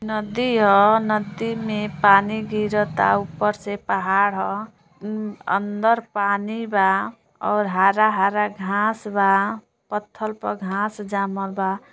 नदी ह । नदी मे पानी गिरत ता। ऊपर से पहाड़ ह । अ अन्दर पानी बा और हारा हारा घास बा। पत्थल पल घास जामल बा।